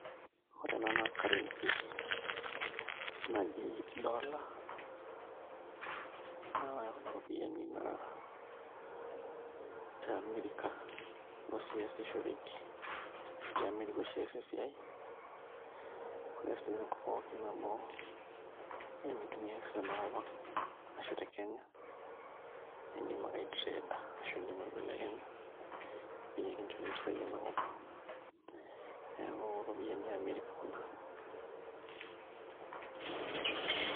koree naa ena karensi naaji dollar naa eno ropiyiani naa te america osshi easishoreki naa te America ooshin eas esiai oree sininye tenkop pooki amu keitumiai sininye tena kopang arashu te Kenya naa idim akke ai trade ashuu idim aibelekenya aaitaa mpisai enakop neaku iropiyiani eee America kuna